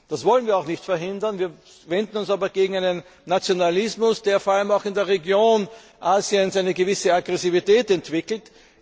Das wollen wir auch nicht verhindern, wir wenden uns aber gegen einen Nationalismus, der vor allem auch in der Region in Asien eine gewisse Aggressivität entwickelt.